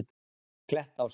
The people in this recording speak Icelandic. Klettási